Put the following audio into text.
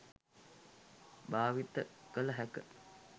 භාවිත කළ හැක.